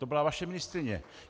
To byla vaše ministryně.